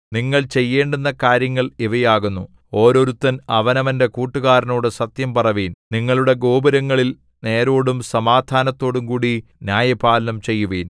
നിങ്ങൾ ചെയ്യേണ്ടുന്ന കാര്യങ്ങൾ ഇവയാകുന്നു ഓരോരുത്തൻ അവനവന്റെ കൂട്ടുകാരനോട് സത്യം പറവിൻ നിങ്ങളുടെ ഗോപുരങ്ങളിൽ നേരോടും സമാധാനത്തോടുംകൂടെ ന്യായപാലനം ചെയ്യുവിൻ